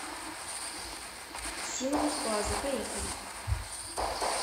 симонов плаза поехали